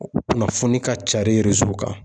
Kunnafoni ka cari kan